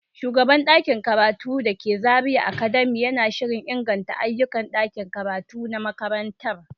Shugaban ɗakin karatu da ke Zariya academy yana shirin inganta ayyukan ɗakin karatu na makarantar.